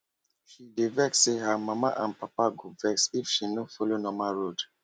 she dey fear say her mama and papa go vex if she no follow normal work road